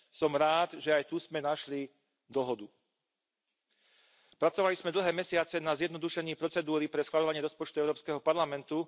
Som rád, že aj tu sme našli dohodu. Pracovali sme dlhé mesiace na zjednodušení procedúry pre schvaľovanie rozpočtu Európskeho parlamentu.